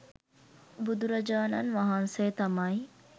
බුදුරජාණන් වහන්සේ තමයි